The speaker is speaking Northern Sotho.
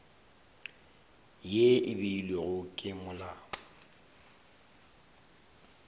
ye e beilwego ke molao